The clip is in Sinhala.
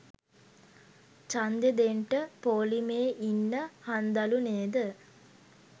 ජන්දේ දෙන්ට පෝලිමේ ඉන්න හන්දලු නේද?